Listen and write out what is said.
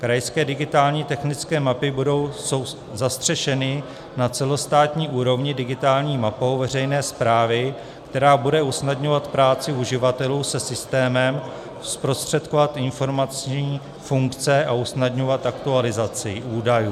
Krajské digitální technické mapy jsou zastřešeny na celostátní úrovni digitální mapou veřejné správy, která bude usnadňovat práci uživatelů se systémem, zprostředkovat informační funkce a usnadňovat aktualizaci údajů.